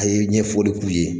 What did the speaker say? A' ye ɲɛfɔli k'u ye.